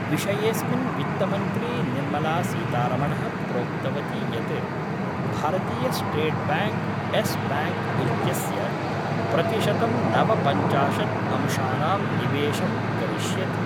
विषयेस्मिन् वित्तमंत्री निर्मलासीतारमणः प्रोक्तवती यत् भारतीयस्टेट्ब्याङ्क् येस् ब्याङ्क् इत्यस्य प्रतिशतं नवपञ्चाशत् अंशानां निवेशं करिष्यति।